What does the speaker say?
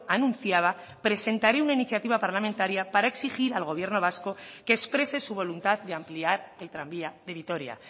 anunciaba presentaré una iniciativa parlamentaria para exigir al gobierno vasco que exprese su voluntad de ampliar el tranvía de vitoria